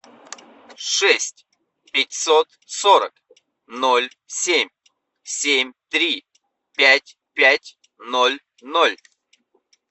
шесть пятьсот сорок ноль семь семь три пять пять ноль ноль